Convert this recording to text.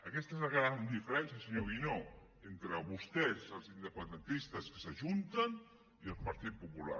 aquesta és la gran diferència senyor guinó entre vostès els independentistes que s’ajunten i el partit popular